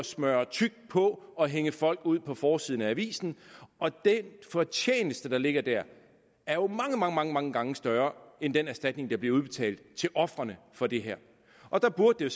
smøre tykt på og hænge folk ud på forsiden af avisen og den fortjeneste der ligger der er jo mange mange gange større end den erstatning der bliver udbetalt til ofrene for det her og der burde det